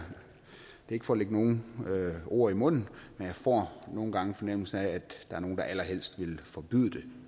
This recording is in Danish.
ikke for at lægge nogen ord i munden men jeg får nogle gange en fornemmelse af at der er nogle der allerhelst vil forbyde det